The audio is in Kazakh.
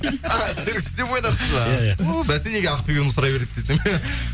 а серік сізде бойдақсыз ба ия ия ууу бәсе неге ақ сұрай береді десем